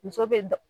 Muso bɛ